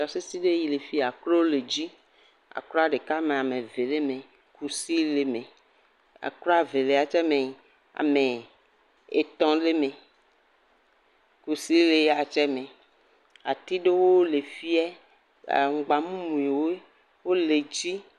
Tɔsisi ɖe le afia akro le dzi. Akro ɖeka me, ame eve le eme. Kusi le eme. Akro Evelia tsɛ me ame etɔ̃ le eme. Kusi le eya tsɛ me. Ati ɖewo le fia aŋgba mumuwo le edzi.